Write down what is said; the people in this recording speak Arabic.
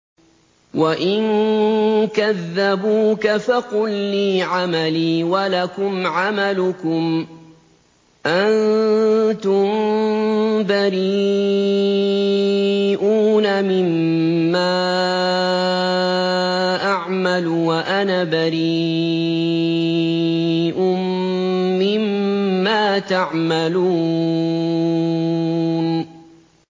وَإِن كَذَّبُوكَ فَقُل لِّي عَمَلِي وَلَكُمْ عَمَلُكُمْ ۖ أَنتُم بَرِيئُونَ مِمَّا أَعْمَلُ وَأَنَا بَرِيءٌ مِّمَّا تَعْمَلُونَ